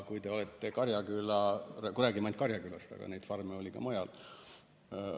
Me räägime ainult Karjakülast, aga neid farme oli ka mujal.